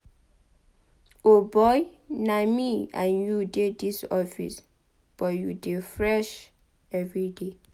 O boy na me and you dey dis office but you dey fresh everyday.